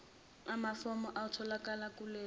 amafomu awatholakali kulayini